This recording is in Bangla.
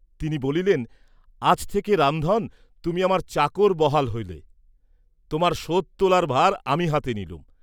তিনি বলিলেন, আজ থেকে রামধন, তুমি আমার চাকর বাহাল হলে, তোমার শোধ তোলার ভার আমি হাতে নিলুম।